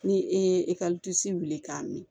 Ni e ye wuli k'a mi